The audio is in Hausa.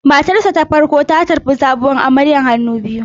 Matarsa ​​ta farko ta tarbi sabuwar amarya hannu biyu.